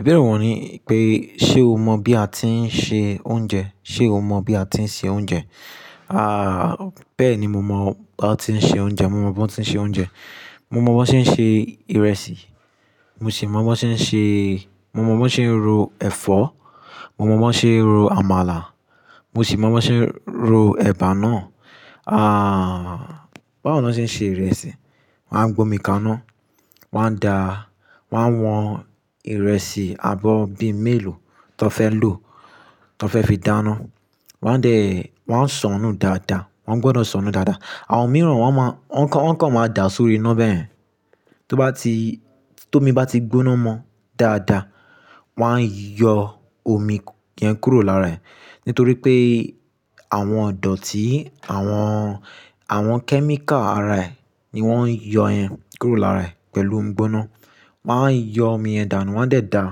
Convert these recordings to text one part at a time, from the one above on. Ìbéèrè wọ́n ni pé, ṣe o mọ̀ bí a ti ń se oúnjẹ? Ṣe o mọ̀ bí a ti ń se oúnjẹ? À, bẹ́ẹ̀ ni mo mọ̀ bá ti ń se oúnjẹ. Mo mọ̀ bó ti ń se oúnjẹ. Mo mọ̀ bó ti ń ṣe ìrẹsì. Mo sì mọ̀ bó ti ń ṣe-- mo mọ̀ bó ti ń ro ẹ̀fọ́. Mo mọ̀ bó ti ń ro àmàlà. Mo sì mọ̀ bó ti ń ro ẹ̀bà náà. À, báwo ni wọ́n ti ń se ìrẹsì? Wọn á gbomi kaná, wọ́n á da, wọ́n á wọn ìrẹsì abọ́ọ̀ bíi mélòó tó fẹ́ lò, tó fẹ́ fi dáná. Wọ́n á dẹ̀, wọ́n á sọnù dáadáa. Wọ́n gbọdọ̀ sọnù dáadáa. Àwọn mìíràn wọ́n máa, ọ́n kan, ọ́n kan máa da sórí iná bẹ́ẹ̀. Tó bá ti, tómi bá ti gbóná mọ dáadáa, wọ́n á yọ omi yẹn kúrò lára ẹ̀ nítorí pé àwọn ọ̀dọ̀ tí àwọn, àwọn kẹ́míkà ara ẹ̀ ni wọ́n ń yọ ẹ kúrò lára ẹ̀ pẹ̀lú omi gbóná. Wọ́n á yọ omi yẹn dànù, wọ́n á sì dá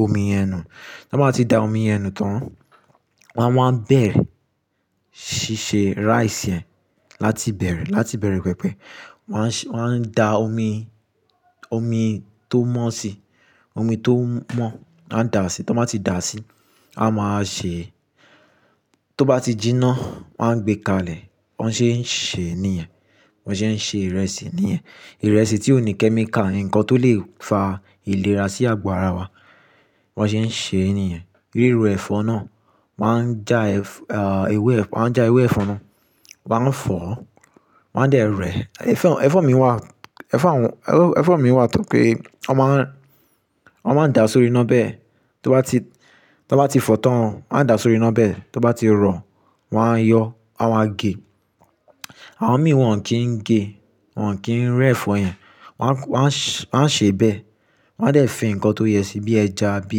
omi yẹn nù. Bí wọ́n bá ti da omi yẹn nù tán, wọ́n á máa bẹ̀ ṣí ṣe rice yẹn láti bẹ̀rẹ̀, láti bẹ̀rẹ̀ pẹpẹ. Wọ́n á, wọ́n á da omi, omi tó mọ́ sí i, omi tó mọ́, wọ́n á da sí i. Tó bá ti da sí i, a máa ṣe-- tó bá ti jinná, wọ́n á gbé kalẹ̀. Wọ́n ṣé ń ṣe è ní yen. Wọ́n ṣé ń ṣe ìrẹsì níyen. Ìrẹsì tí ò ní kẹ́míkà, ǹkan tó lè fa ìlera sí àgo ara wa. Wọ́n ṣé ń ṣe èní yen. Ríro ẹ̀fọ́ náà, wọ́n á já ẹ̀f-- à, ewé ẹ̀f-- wọ́n á já ewé ẹ̀fọ́ náà, wọ́n á fọ̀, wọ́n á dẹ̀ rẹ́. Ẹ̀fọ́, ẹ̀fọ́ mi wà, ẹ̀fọ́ àwọn, oh, ẹ̀fọ́ mi wà tó pé wọ́n má ń, wọ́n máa ń da sórí iná bẹ́ẹ̀. Tó bá ti, tó bá ti fọ̀ tán, wọ́n á da sórí iná bẹ́ẹ̀. Tó bá ti rọ, wọ́n á yọ, wọ́n á gè. Àwọn mìíràn kí ń gè, wọ́n kì í rẹ́ ẹ̀fọ́ yẹn. Wọ́n á, wọ́n á, wọ́n á ṣe bẹ́ẹ̀. Wọ́n á dẹ̀ fi ǹkan tó yẹ síi bí ẹja, bí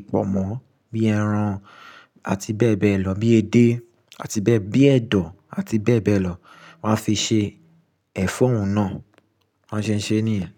ipòmọ́, bí ẹran àti bẹ́ẹ̀ bẹ́ẹ̀ lọ, bí edé àti bẹ́ẹ̀, bí ẹ̀dọ̀ àti bẹ́ẹ̀ bẹ́ẹ̀ lọ. Wọ́n á fi ṣe ẹ̀fọ́ òun náà. Wọ́n ṣé ń ṣe èní yen.